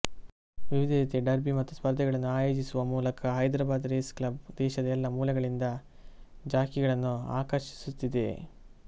ವಿವಿಧ ರೀತಿಯ ಡರ್ಬಿ ಮತ್ತು ಸ್ಪರ್ಧೆಗಳನ್ನು ಆಯೋಜಿಸುವ ಮೂಲಕ ಹೈದ್ರಾಬಾದ್ ರೇಸ್ ಕ್ಲಬ್ ದೇಶದ ಎಲ್ಲ ಮೂಲೆಗಳಿಂದ ಜಾಕಿಗಳನ್ನು ಆಕರ್ಷಿಸುತ್ತಿದೆ